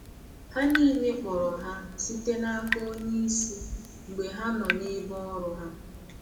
Ha niile kpọrọ ha site n’aka onye isi mgbe ha nọ n’ebe ọrụ ha.